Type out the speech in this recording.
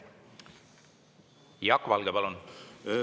Jaak Valge, palun!